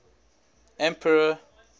emperor